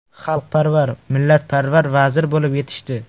Xalqparvar, millatparvar vazir bo‘lib yetishdi.